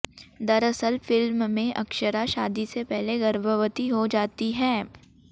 दरअसल फिल्म में अक्षरा शादी से पहले गर्भवती हो जाती हैं